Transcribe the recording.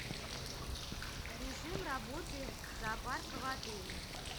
режим работы зоопарка в отеле